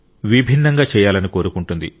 విభిన్నంగా చేయాలని కోరుకుంటుంది